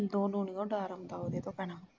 ਸ਼ਿੰਦੇ ਨੂੰ ਨਹੀਂ ਡਰਾਉਂਦਾ ਉਹਦੇ ਤੋਂ ਭੈਣਾਂ